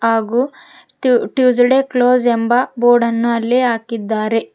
ಹಾಗೂ Tuesday close ಎಂಬ board ಅನ್ನು ಅಲ್ಲಿ ಹಾಕಿದ್ದಾರೆ.